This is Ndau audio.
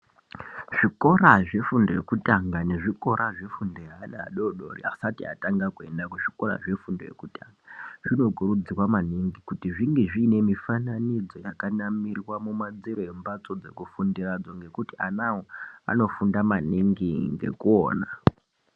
Zvikora zvefundo yekutanga nezvikora zvefundo yeana adodori asati atanga kuenda kuzvikora zvefundo yekutanga zvinokurudzirwa maningi kuti zvinge zviine mifananidzo yakanamirwa mumadziro embhatso dzekufundira ngekuti anawo anofunda maningi ngekuona.